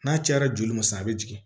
N'a cayara joli ma sɔn a be jigin